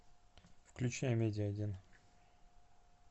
включай амедиа один